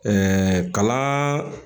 kalan